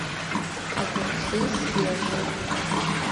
огурцы свежие